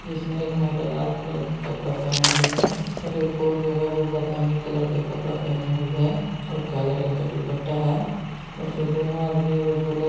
इसमें एक महिला लाल कलर की कपड़ा पहनी हुई है और एक और जो है वो बादामी कलर का कपड़ा पहनी हुई है और काले रंग के दुपट्टा है और जो दोनों आदमी ओ झोला--